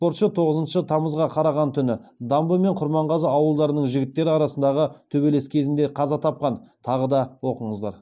спортшы тоғызыншы тамызға қараған түні дамбы мен құрманғазы ауылдарының жігіттері арасындағы төбелес кезінде қаза тапқан тағы да оқыңыздар